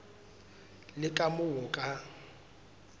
le ka moo o ka